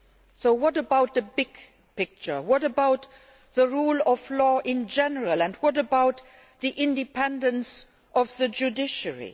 So what about the big picture? What about the rule of law in general and what about the independence of the judiciary?